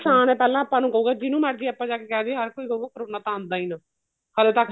ਨੁਕਸਾਨ ਏ ਪਹਿਲਾਂ ਆਪਾਂ ਨੂੰ ਹੋਊਗਾ ਜਿੰਨੂ ਮਰਜੀ ਆਪਾਂ ਜਾ ਕੇ ਕਹਿ ਦਈਏ ਹਰ ਕੋਈ ਕਰੋਨਾ ਤਾਂ ਆਂਦਾ ਹੀ ਨਾ ਹਲੇ ਤੱਕ